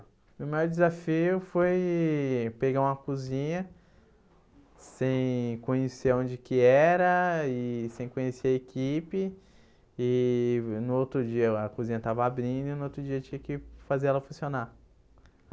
O meu maior desafio foi pegar uma cozinha sem conhecer a onde que era e sem conhecer a equipe e no outro dia a cozinha estava abrindo e no outro dia tinha que fazer ela funcionar.